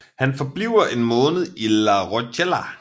Han forbliver en måned i La Rochelle